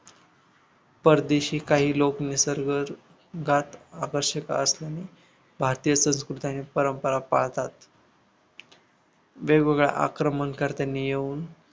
परदेशी काही लोक निसर्गात आवश्यक असून भारतीय संस्कृती आणि परंपरा पाळतात वेगवेगळ्या आक्रमणकर्त्यानी येऊन